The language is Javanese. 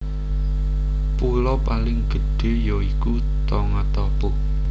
Pulo paling gedhé ya iku Tongatapu